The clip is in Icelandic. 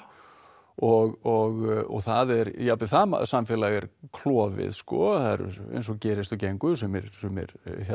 og það er jafnvel það samfélag er klofið sko eins og gerist og gengur sumir sumir